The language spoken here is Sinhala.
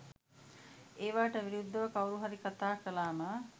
ඒවාට විරුද්ධව කවුරු හරි කතා කළාම